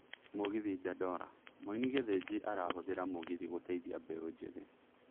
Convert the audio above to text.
Mũgithi Dandora: Mũini Gĩthĩnji arahũthĩra mũgithi gũteithia mbĩũ njĩthĩ